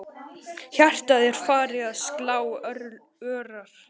Hjartað er farið að slá örar.